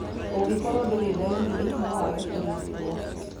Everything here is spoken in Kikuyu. Ũngĩkorwo ndũrĩ ndariri, no wage kũrigitwo.